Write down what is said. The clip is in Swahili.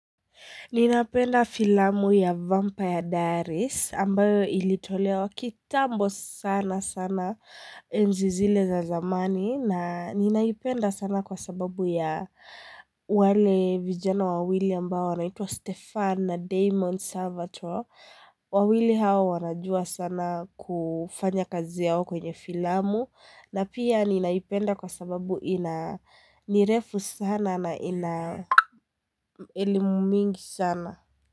Ninapenda filamu ya Vampire Diaries, ambayo ilitolewa kitambo sana sana enzi zile za zamani, na ninaipenda sana kwa sababu ya wale vijana wawili ambayo naitwa Stefan na Damon Savato, wawili hawa wanajua sana kufanya kazi yao kwenye filamu, na pia ninaipenda kwa sababu ina nirefu sana na ina elimu mingi sana.